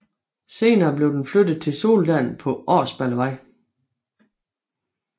Senere blev den flyttet til Soldalen på Årsballevej